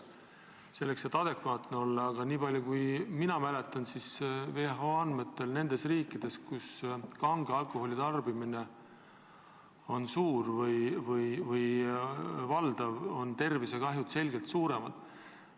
Aga niipalju kui mina mäletan, on WHO andmetel nendes riikides, kus kange alkoholi tarbimine on suur või valdav, tervisekahjud selgelt suuremad.